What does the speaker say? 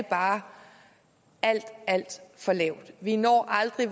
bare alt alt for lavt vi når aldrig